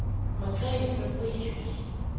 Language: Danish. Margrethe Fabricius